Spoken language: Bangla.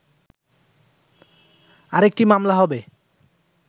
আরেকটি মামলা হবে